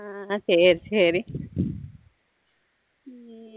ஹம் சரி சரி